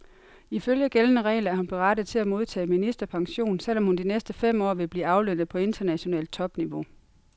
Ifølge gældende regler er hun berettiget til at modtage ministerpension, selv om hun de næste fem år vil blive aflønnet på internationalt topniveau.